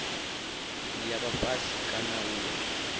ya vha fhasi kana u